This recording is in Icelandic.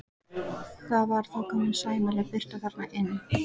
Það var þá komin sæmileg birta þarna inn.